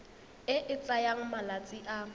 e e tsayang malatsi a